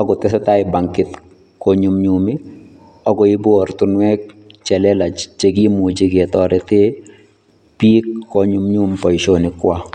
akot eng' koteseta bankit konyunyumi akoibu oratinwek chelelach chekimuchi ketoreten biik konyumnyum boishonikwak.